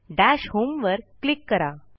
दश होम वर क्लिक करा